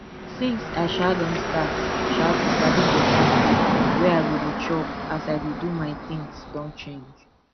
since i um don start um to sabi better food wey i go dey chop as i dey do my things don change